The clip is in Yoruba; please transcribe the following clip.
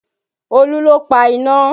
Olú ló pa iná